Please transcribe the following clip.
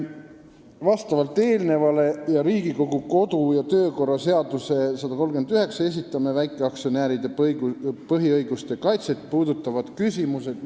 Lähtudes eelnevast ning Riigikogu kodu- ja töökorra seaduse §-st 139 esitame ministrile väikeaktsionäride põhiõiguste kaitset puudutavad küsimused.